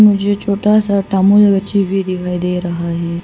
मुझे छोटा सा भी दे रहा है।